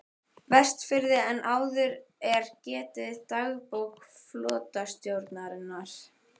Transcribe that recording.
Vestfirði en áður er getið í dagbók flotastjórnarinnar